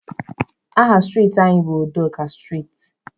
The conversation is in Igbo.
Aha striiti anyị bụ Udoka striiti.